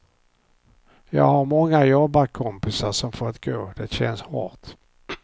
Jag har många jobbarkompisar som fått gå, det känns hårt.